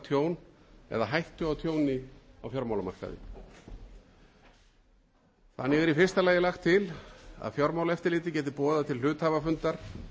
tjón eða hættu á tjóni á fjármálamarkaði þannig er í fyrsta lagi lagt til að fjármálaeftirlitið geti boðað til hluthafafundar